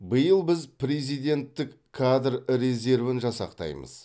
биыл біз президенттік кадр резервін жасақтаймыз